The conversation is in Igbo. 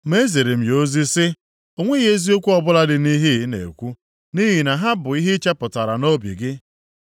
Ma eziri m ya ozi sị, “O nweghị eziokwu ọbụla dị nʼihe ị na-ekwu, nʼihi na ha bụ ihe i chepụtara nʼobi gị.”